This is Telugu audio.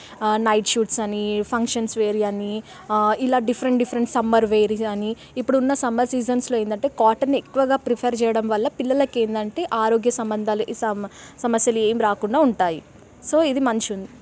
నైట్ సూట్స్ అని ఫంక్షన్స్ వేరి అని ఆ ఇలా డిఫరెంట్ డిఫరెంట్ సమ్మర్ వేరి అని ఇప్పుడు ఉన్న సమ్మర్ సీజన్లో ఎంటిదంటే కాటన్ ఎక్కువగా ప్రిఫర్ చేయడం వలన పిల్లలకు ఏంది అంటే ఆరోగ్య సంబంద సమ--సమస్యలు అవి రాకుండా ఉంటాయి. సో ఇది మంచిది.